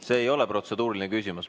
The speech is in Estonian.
See ei ole protseduuriline küsimus.